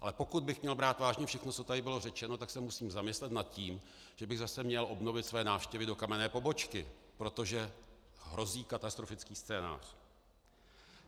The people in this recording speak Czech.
Ale pokud bych měl brát vážně všechno, co tady bylo řečeno, tak se musím zamyslet nad tím, že bych zase měl obnovit své návštěvy do kamenné pobočky, protože hrozí katastrofický scénář.